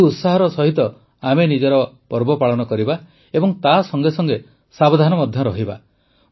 ଏହି ଉତ୍ସାହର ସହିତ ଆମେ ନିଜର ପର୍ବ ପାଳନ କରିବା ଏବଂ ତା ସଂଗେସଂଗେ ସାବଧାନ ମଧ୍ୟ ରହିବା